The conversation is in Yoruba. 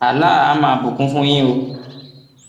allah àá máa bùkún fún yín o